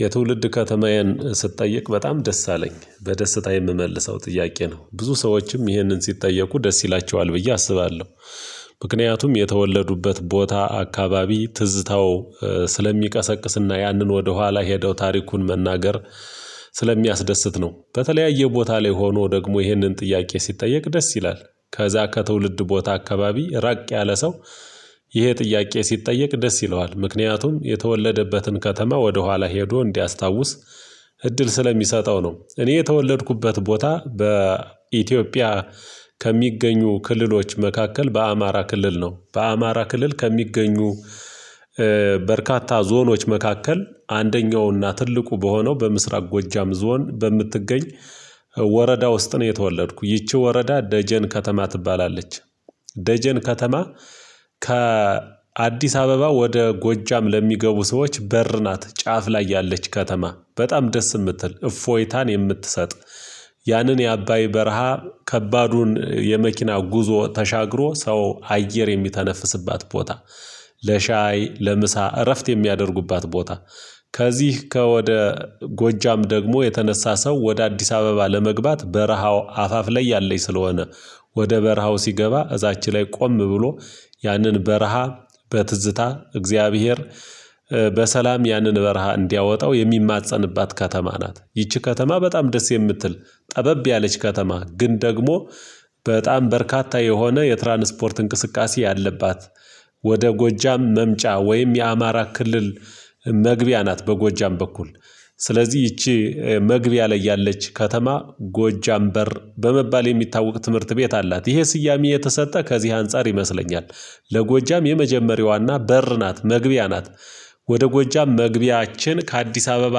የትውልድ ከተማዬን ስትጠየቅ በጣም ደስ አለኝ በደስታ የምመልሰው ጥያቄ ነው ብዙ ሰዎችም ይህንን ሲጠየቁ ደስ ይላቸዋል ብዬ አስባለሁ። ምክንያቱም የተወለዱበት ቦታ አካባቢ ትዝታው ስለሚቀሰቅስና ያንን ወደኋላ ሄደው ታሪኩን መናገር ስለሚያስደስት ነው። በተለያየ ቦታ ላይ ሆኖ ደግሞ ይህንን ጥያቄ ሲጠየቅ ደስ ይላል። ከዛ ከትውልድ ቦታ አካባቢ ራቅ ያለ ሰው ይሄ ጥያቄ ሲጠየቅ ደስ ይለዋል ምክንያቱም የተወለደበትን ከተማ ወደኋላ ሄዶ እንዲያስታውስ እድል ስለሚሰጠው ነው። እኔ የተወለድኩበት ቦታ በኢትዮጵያ ከሚገኙ ክልሎች መካከል በአማራ ክልል ነው። በአማራ ክልል ከሚገኙ በርካታ ዞኖች መካከል አንደኛውና ትልቁ በሆነው በምስራቅ ጎጃም ዞን በምትገኝ ወረዳ ውስጥ ነው። የተወለድኩ ይቺ ወረዳ ደጀን ከተማ ትባላለች። ደጀን ከተማ ከአዲስ አበባ ወደ ጎጃም ለሚገቡ ሰዎች በር ናት። ጫፍ ላይ ያለች ከተማ በጣም ደስ የምትል እፎይታን የምትሰጥ ያንን የአባይ በረሃ ከባዱን የመኪና ጉዞ ተሻግሮ ሰው አየር የሚተነፍስባት ቦታ። ለሻይ ለምሳ እረፍት የሚያደርጉባት ቦታ። ከዚህ ከወደ ጎጃም ደግሞ የተነሳ ሰው ወደ አዲስ አበባ ለመግባት በረሃው አፋፍ ላይ ያለኝ ስለሆነ። ወደ በረሃው ሲገባ እዛች ላይ ቆም ብሎ ያንን በረሃ በትዝታ እግዚአብሔር በሰላም ያንን በረሃ እንዲያወጣው የሚማፀንባት ከተማ ናት። ይቺ ከተማ በጣም ደስ የምትል ጠበብ ያለች ከተማ ግን ደግሞ በጣም በርካታ የሆነ የትራንስፖርት እንቅስቃሴ ያለባት። ወደ ጎጃም መምጫ ወይም የአማራ ክልል መግቢያ ናት። በጎጃም በኩል ስለዚህ ይቺ መግቢያ ላይ ያለች ከተማ ጎጃም በር በመባል የሚታወቅ ትምህርት ቤት አላት። ይሄ ስያሜ የተሰጠ ከዚህ አንፃር ይመስለኛል። ለጎጃም የመጀመሪያዋና በር ናት መግቢያ ናት። ወደ ጎጃም መግቢያችን ከአዲስ አበባ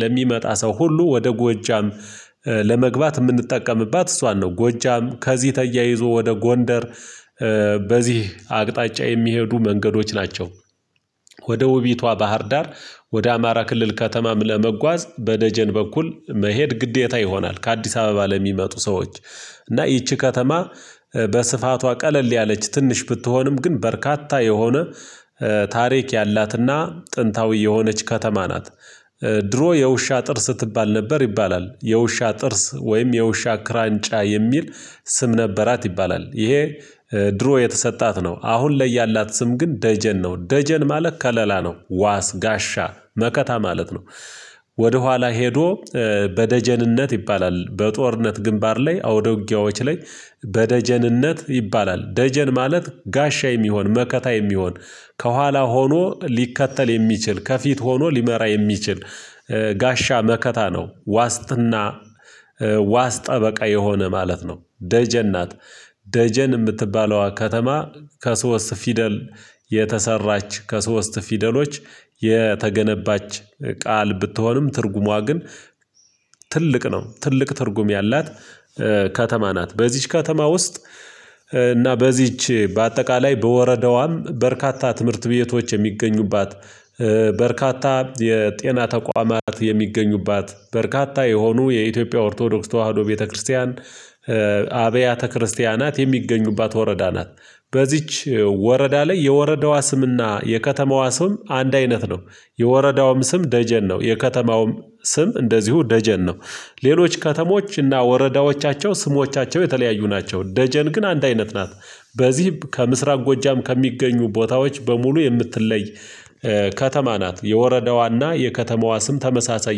ለሚመጣ ሰው ሁሉ ወደ ጎጃም ለመግባት የምንጠቀምባት እሷን ነው። ጎጃም ከዚህ ተያይዞ ወደ ጎንደር በዚህ አቅጣጫ የሚሄዱ መንገዶች ናቸው። ወደ ውቢቷ ባህር ዳር ወደ አማራ ክልል ከተማም ለመጓዝ በደጀን በኩል መሄድ ግዴታ ይሆናል። ከአዲስ አበባ ለሚመጡ ሰዎች እና ይቺ ከተማ በስፋቷ ቀለል ያለች ትንሽ ብትሆንም ግን በርካታ የሆነ ታሪክ ያላትና ጥንታዊ የሆነች ከተማ ናት። ድሮ የውሻ ጥርስ ትባል ነበር ይባላል የውሻ ጥርስ ወይም የውሻ ክራንጫ የሚል ስም ነበራት ይባላል ይሄ። ድሮ የተሰጣት ነው አሁን ላይ ያላት ስም ግን ደጀን ነው። ደጀን ማለት ከለላ ነው ዋስ ጋሻ መከታ ማለት ነው። ወደኋላ ሄዶ በደጀንነት ይባላል በጦርነት ግንባር ላይ አውድ ውጊያዎች ላይ በደጀንነት ይባላል ደጀን ማለት ጋሻ የሚሆን መከታ የሚሆን ከኋላ ሆኖ ሊከተል የሚችል ከፊት ሆኖ ሊመራ የሚችል ጋሻ መከታ ነው ዋስትና ዋስ ጠበቃ የሆነ ማለት ነው ደጀን ናት። ደጀን የምትባለዋ ከተማ ከሶስት ፊደል የተሰራች ከሶስት ፊደሎች የተገነባች ቃል ብትሆንም ትርጉሟ ግን ትልቅ ነው ትልቅ ትርጉም ያላት። ከተማ ናት በዚህች ከተማ ውስጥ። እና በዚህች በአጠቃላይ በወረዳዋም በርካታ ትምህርት ቤቶች የሚገኙባት በርካታ የጤና ተቋማት የሚገኙባት በርካታ የሆኑ የኢትዮጵያ ኦርቶዶክስ ተዋህዶ ቤተክርስቲያን አብያተ ክርስቲያናት የሚገኙባት ወረዳ ናት። በዚች ወረዳ ላይ የወረዳዋ ስምና የከተማዋ ስም አንድ አይነት ነው። የወረዳውም ስም ደጀን ነው የከተማውም ስም እንደዚሁ ደጀን ነው። ሌሎች ከተሞች እና ወረዳዎቻቸው ስሞቻቸው የተለያዩ ናቸው ደጀን ግን አንድ አይነት ናት። በዚህም ከምስራቅ ጎጃም ከሚገኙ ቦታዎች በሙሉ የምትለይ ከተማ ናት። የወረዳዋና የከተማዋ ስም ተመሳሳይ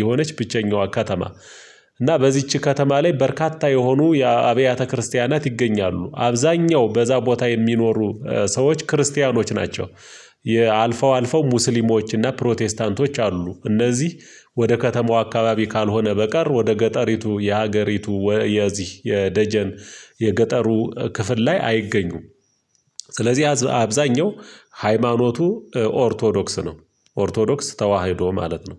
የሆነች ብቸኛዋ ከተማ። እና በዚች ከተማ ላይ በርካታ የሆኑ የአብያተ ክርስቲያናት ይገኛሉ አብዛኛው በዛ ቦታ የሚኖሩ ሰዎች ክርስቲያኖች ናቸው። የአልፈው አልፈው ሙስሊሞች ሙስሊሞችና ፕሮቴስታንቶች አሉ እነዚህ። ወደ ከተማው አካባቢ ካልሆነ በቀር ወደ ገጠሪቱ የሀገሪቱ ወ የዚህ የደጀን የገጠሩ ክፍል ላይ አይገኙም። ስለዚህ አብዛኛው ሃይማኖቱ ኦርቶዶክስ ነው። ኦርቶዶክስ ተዋህዶ ማለት ነው